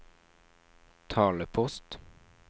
talepost